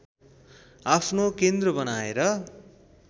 आफ्नो केन्द्र बनाएर